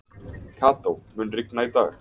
Kató, mun rigna í dag?